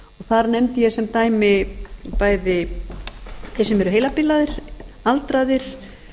þar nefndi ég sem dæmi bæði þeir sem eru heilabilaðir aldraðir